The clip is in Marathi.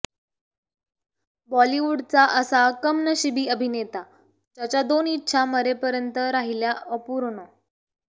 बॉलिवूडचा असा कमनशिबी अभिनेता ज्याच्या दोन इच्छा मरेपर्यंत राहिल्या अपूर्ण